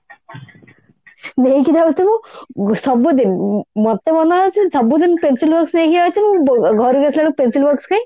ନେଇକି ଯାଉଥିବୁ ସବୁଦିନ ମ ମୋର ତ ମାନେ ଅଛି ସବୁଦିନ pencil box ନେଇକି ଯାଇଥିବୁ ଘରକୁ ଆସିଲା ବେଳକୁ pencil box କାଇଁ